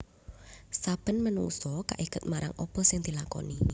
Saben manungsa kaiket marang apa sing dilakoni